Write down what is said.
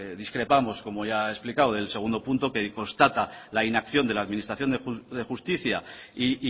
discrepamos como ya he explicado del segundo punto que constata la inacción de la administración de justicia y